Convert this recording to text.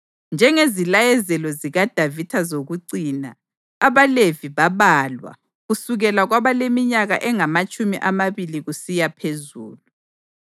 Njengeziyalezelo zikaDavida zokucina, abaLevi babalwa kusukela kwabaleminyaka engamatshumi amabili kusiya phezulu.